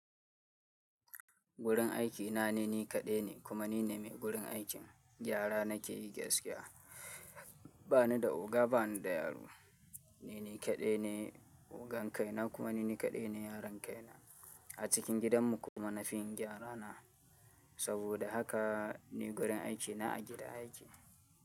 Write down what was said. Gurin aikina nani kaɗai ne kuma nine mai gurin aikin. Gyara nake yi gaskiya ba ni da oga, ba ni da yaro. Nini kaɗai ne ogan kai na kuma nini kaɗai ne yaron kai na a cikin gidanmu kuma na fin gyara na. Saboda haka ni gurin aiki na a gida yake.